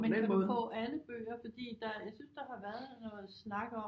Men kan du få alle bøger fordi der jeg synes der har været noget snak